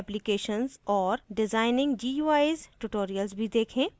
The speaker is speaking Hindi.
designing guis ट्यूटोरियल्स भी देखें